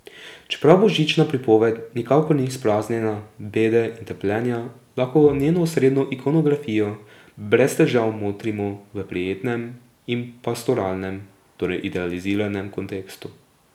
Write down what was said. Čeprav božična pripoved nikakor ni izpraznjena bede in trpljenja, lahko njeno osrednjo ikonografijo brez težav motrimo v prijetnem in pastoralnem, torej idealiziranem kontekstu.